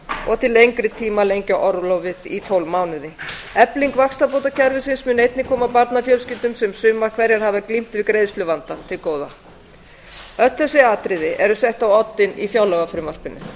til lengri tíma að lengja orlofið í tólf mánuði efling vaxtabótakerfisins mun einnig koma barnafjölskyldum sem sumar hverjar hafa glímt við greiðsluvanda til góða öll þessi atriði eru sett á oddinn í fjárlagafrumvarpinu